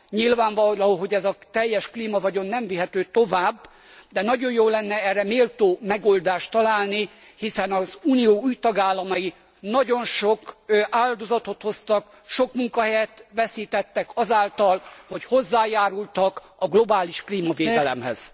Nyilvánvaló, hogy ez a teljes klímavagyon nem vihető tovább, de nagyon jó lenne erre méltó megoldást találni, hiszen az Unió új tagállamai nagyon sok áldozatot hoztak, sok munkahelyet veszítettek azáltal, hogy hozzájárultak a globális klímavédelemhez.